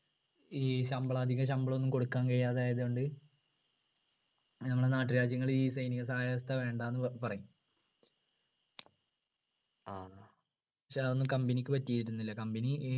ഈ ശമ്പളം അധിക ശമ്പളം ഒന്നും കൊടുക്കാൻ കഴിയാതെ ആയതോണ്ട് ഞങ്ങൾ നാട്ടുരാജ്യങ്ങള് ഈ സൈനിക സഹായ വ്യവസ്ഥ വേണ്ടാന്ന്പറയും പക്ഷെ അതൊന്നും company ക്ക് പറ്റിയിരുന്നില്ല company ഏർ